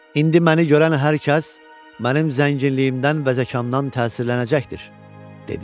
İndi məni görən hər kəs mənim zənginliyimdən və zəkandan təsirlənəcəkdir, dedi.